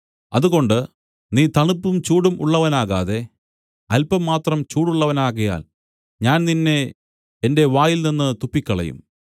അതുകൊണ്ട് നീ തണുപ്പും ചൂടും ഉള്ളവനാകാതെ അല്പം മാത്രം ചൂടുള്ളവനാകയാൽ ഞാൻ നിന്നെ എന്റെ വായിൽനിന്നു തുപ്പിക്കളയും